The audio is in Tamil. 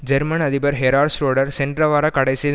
ஜெர்மன் அதிபர் ஹெரார்ட் ஷ்ரோடர் சென்ற வார கடைசியில்